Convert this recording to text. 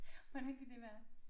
Hvordan kan det være